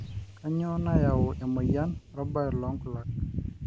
kanyio nayau emoyian orbae loo nkulak